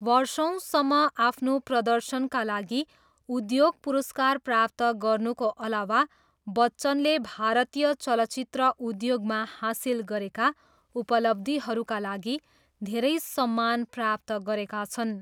वर्षौँसम्म आफ्नो प्रदर्शनका लागि उद्योग पुरस्कार प्राप्त गर्नुको अलावा बच्चनले भारतीय चलचित्र उद्योगमा हासिल गरेका उपलब्धिहरूका लागि धेरै सम्मान प्राप्त गरेका छन्।